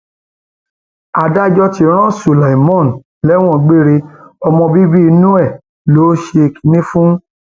adájọ ti ran su lima lẹwọn gbére ọmọ bíbí inú ẹ ló ṣe kinní fún